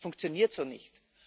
Das funktioniert so nicht.